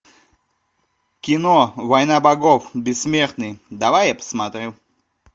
кино война богов бессмертный давай я посмотрю